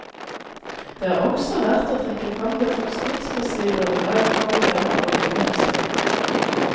Det er også verdt å trekke frem det forskningsmessige grunnlag for moderne oljeindustri.